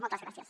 moltes gràcies